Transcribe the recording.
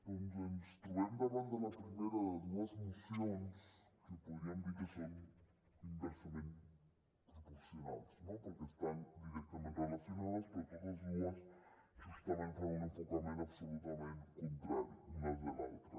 doncs ens trobem davant de la primera de dues mocions que podríem dir que són inversament proporcionals no perquè estan directament relacionades però totes dues justament fan un enfocament absolutament contrari una de l’altra